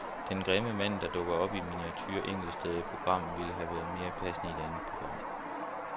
Den grimme mand, der dukker op i miniature enkelte steder i programmet, ville have været mere passende i et andet program.